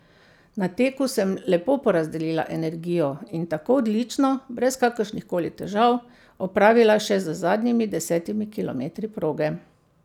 Na teku sem lepo porazdelila energijo in tako odlično, brez kakršnih koli težav, opravila še z zadnjimi desetimi kilometri proge.